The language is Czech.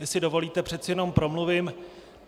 Jestli dovolíte, přece jen promluvím.